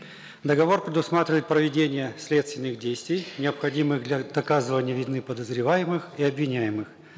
договор предусматривает проведение следственных действий необходимых для доказывания вины подозреваемых и обвиняемых